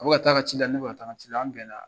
A bi ka taa ka ci la , ne bi ka taa n ka ci la an bɛnna